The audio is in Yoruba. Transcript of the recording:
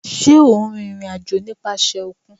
Ṣe o n rin irin-ajo nipasẹ okun?